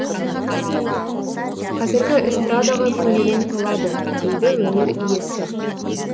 қазіргі эстрадаға көңілім толады дейді өнер иесі